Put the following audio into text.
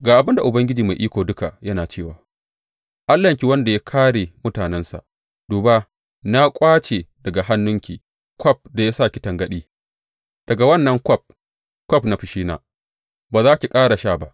Ga abin da Ubangiji Mai Iko Duka yana cewa, Allahnki, wanda ya kāre mutanensa, Duba, na ƙwace daga hannunki kwaf da ya sa ki tangaɗi; daga wannan kwaf, kwaf na fushina, ba za ki ƙara sha ba.